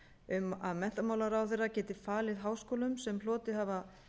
um að menntamálaráðherra geti falið háskólum sem hlotið hafa